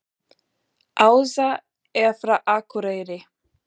Ása er frá Akureyri.